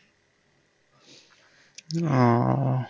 উহ